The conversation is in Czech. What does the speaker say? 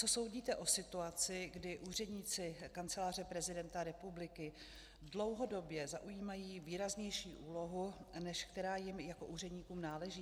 Co soudíte o situaci, kdy úředníci Kanceláře prezidenta republiky dlouhodobě zaujímají výraznější úlohu, než která jim jako úředníkům náleží?